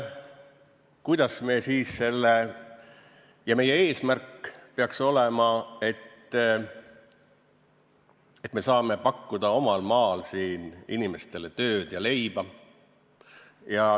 Meie eesmärk peaks olema, et saame pakkuda omal maal inimestele tööd ja leiba.